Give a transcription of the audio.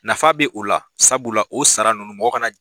Nafa bɛ u la, sabula o sara ninnu mɔgɔ ka na